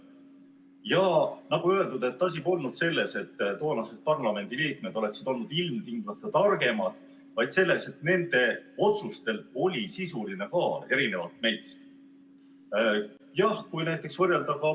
Ja nagu öeldud, asi polnud selles, et toonased parlamendiliikmed oleksid olnud ilmtingimata targemad, vaid selles, et nende otsustel oli erinevalt meie omadest sisuline kaal.